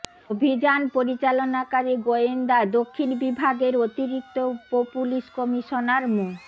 অভিযান পরিচালনাকারী গোয়েন্দা দক্ষিণ বিভাগের অতিরিক্ত উপপুলিশ কমিশনার মো